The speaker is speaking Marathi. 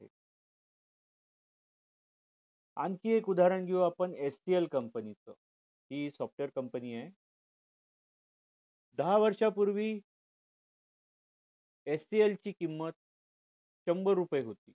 आणखी एक उदाहरण घेऊ आपण HCLcompany च हि software company आहे दहा वर्ष पूर्वी HCL ची किंमत शंभर रुपये होती